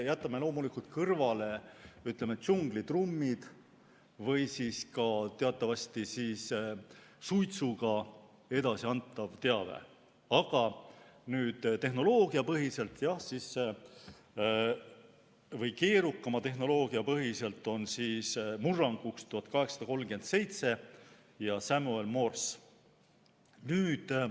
Jätame kõrvale, ütleme, džunglitrummid või siis ka teatavasti suitsuga edasiantava teabe, aga tehnoloogiapõhiselt või keerukama tehnoloogia põhiselt on murranguks 1837 ja Samuel Morse.